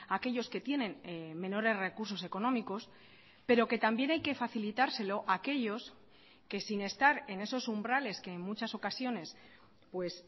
a aquellos que tienen menores recursos económicos pero que también hay que facilitárselo a aquellos que sin estar en esos umbrales que en muchas ocasiones pues